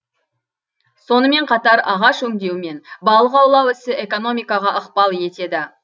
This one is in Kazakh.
сонымен қатар ағаш өңдеу мен балық аулау ісі экономикаға ықпал етеді